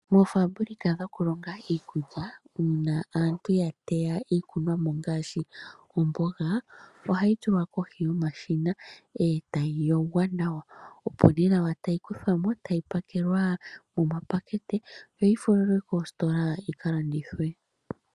Moofaambulika dhokulonga iikulya uuna aantu yateya iikunwa mo ngaashi omboga ohayi tulwa kohi yomashina etayi yogwa nawa opo nee nawa tayi kuthwa mo etayi pakelwa momapakete yoyi falwe koostola yika landithwe.